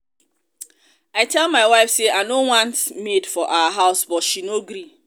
i tell my wife say i no want maid for our house but she no agree